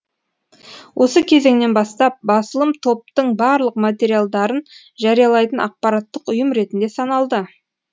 осы кезеңнен бастап басылым топтың барлық материалдарын жариялайтын ақпараттық ұйым ретінде саналды